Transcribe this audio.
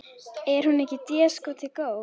Er hún ekki déskoti góð?